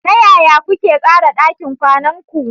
Ta yaya kuke tsara ɗakin kwanan ku?